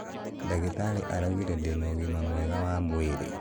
Ndagĩtarĩ araũgĩre ndĩna ũgĩma mwega wa mwĩrĩ